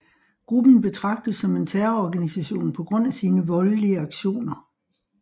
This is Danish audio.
Gruppen betrages som en terrororganisation på grund af sin voldelige aktioner